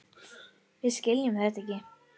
Við skiljum þetta ekki.